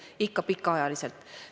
Ei, ikka pikaajaliselt.